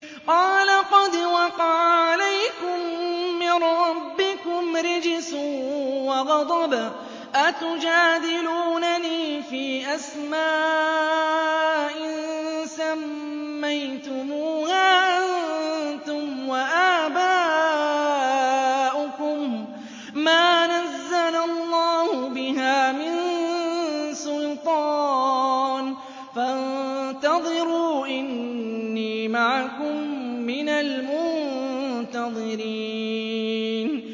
قَالَ قَدْ وَقَعَ عَلَيْكُم مِّن رَّبِّكُمْ رِجْسٌ وَغَضَبٌ ۖ أَتُجَادِلُونَنِي فِي أَسْمَاءٍ سَمَّيْتُمُوهَا أَنتُمْ وَآبَاؤُكُم مَّا نَزَّلَ اللَّهُ بِهَا مِن سُلْطَانٍ ۚ فَانتَظِرُوا إِنِّي مَعَكُم مِّنَ الْمُنتَظِرِينَ